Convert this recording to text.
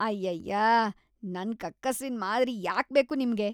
ಅಯ್ಯಯ್ಯಾ.. ನನ್ ಕಕ್ಕಸ್ಸಿನ್ ಮಾದರಿ ಯಾಕ್ಬೇಕು ನಿಮ್ಗೆ?!